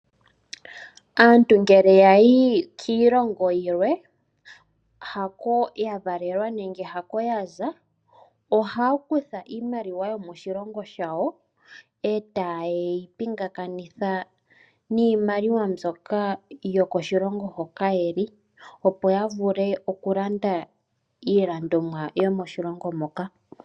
Aantu ngele ya yi kiilongo yilwe haako ya valelwa nenge haako ya za, ohaya kutha iimaliwa yooshilongo shawo etaye yi pingakanitha niimaliwa mbyoka yokoshilongo hoka ye li, opo ya vule oku landa iilandomwa yomoshilongo moka.